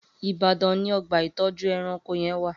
Ibadan ni ọgba itọjú ẹ̀rãnkó yèn wà